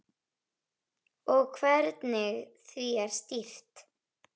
Og hvernig því er stýrt.